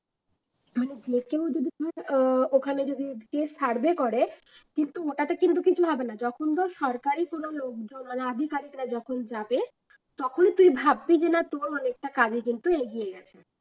আর ভেতরে যদি কেউ আহ ওখানে যদি কেউ survey করে কিন্তু ওটাতে কিন্তু কিছু হবে না যখন ধর সরকারি কোন লোকজন যখন যাবে তখনই তুই ভাববি যে না তোর